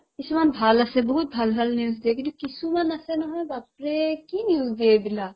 কিছুমান ভাল আছে বহুত ভাল ভাল news দিয়ে কিন্তু কিছুমান আছে নহয় বাপৰে কি news দিয়ে এইবিলাক